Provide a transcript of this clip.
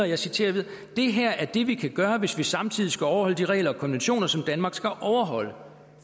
jeg citerer videre det her er det vi kan gøre hvis vi samtidig skal overholde de regler og konventioner som danmark skal overholde